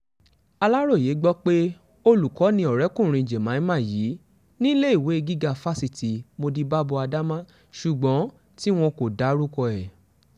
aláròye gbọ́ pé olùkọ́ ni ọ̀rẹ́kùnrin jamima yìí níléèwé gíga fásitì modibábo adama ṣùgbọ́n tí wọn kò dárúkọ ẹ̀